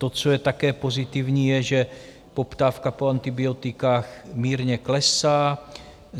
To, co je také pozitivní, je, že poptávka po antibiotikách mírně klesá.